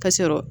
Ka sɔrɔ